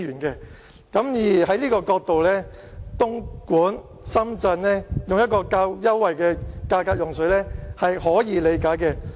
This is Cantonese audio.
從這個角度，東莞和深圳以較優惠的價格用水是可以理解的。